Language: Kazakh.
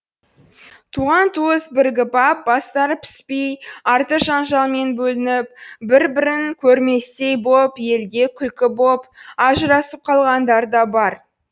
туған туыс бірігіп ап бастары піспей арты жанжалмен бөлініп бір бірін көрместей боп елге күлкі боп ажырасып қалғандар да бар